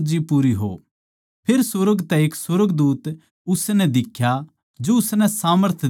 फेर सुर्ग तै एक सुर्गदूत उसनै दिख्या जो उसनै सामर्थ दिया करै था